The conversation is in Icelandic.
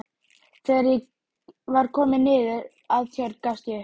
Þegar ég var kominn niður að Tjörn gafst ég upp.